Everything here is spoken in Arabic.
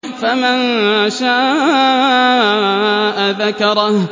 فَمَن شَاءَ ذَكَرَهُ